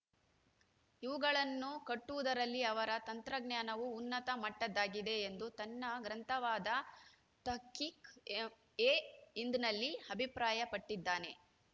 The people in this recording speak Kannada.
ಇವುಗಳನ್ನು ಕಟ್ಟುವುದರಲ್ಲಿ ಅವರ ತಂತ್ರಜ್ಞಾನವು ಉನ್ನತ ಮಟ್ಟದ್ದಾಗಿದೆ ಎಂದು ತನ್ನ ಗ್ರಂಥವಾದ ತಹ್ಕಿಕ್‌ಎಹಿಂದ್‌ನಲ್ಲಿ ಅಭಿಪ್ರಾಯಪಟ್ಟಿದ್ದಾನೆ